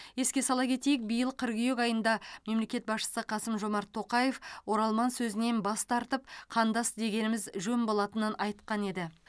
еске сала кетейік биыл қыркүйек айында мемлекет басшысы қасым жомарт тоқаев оралман сөзінен бас тартып қандас дегеніміз жөн болатынын айтқан еді